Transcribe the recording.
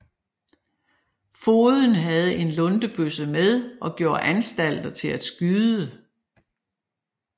Fogeden havde en luntebøsse med og gjorde anstalter til at skyde